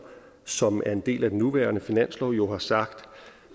som er en del af den nuværende finanslov jo har sagt